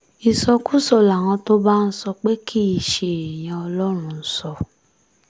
ìsọkúsọ làwọn tó bá ń sọ pé kì í ṣe èèyàn ọlọ́run ń sọ